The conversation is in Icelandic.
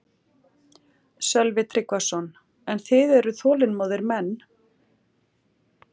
Sölvi Tryggvason: En þið eruð þolinmóðir menn?